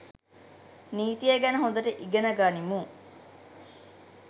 නීතිය ගැන හොඳට ඉගන ගනිපු